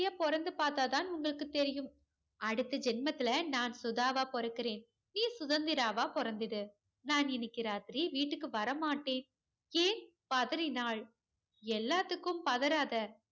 பொறந்து பார்த்தாத தெரியும் அடுத்த ஜென்மத்துல நான் சுதாவாக பொறக்குறேன் நீ சுதந்திராவா பிறந்துட நான் இன்னைக்கி ராத்திரி வீட்டுக்கு வர மாட்டேன் ஏன் பதறினாள் எல்லாத்துக்கு பதறாத